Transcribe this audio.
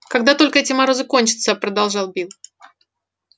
когда только эти морозы кончатся продолжал билл